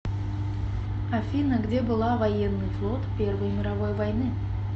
афина где была военный флот первой мировой войны